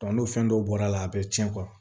n'o fɛn dɔw bɔr'a la a bɛ cɛn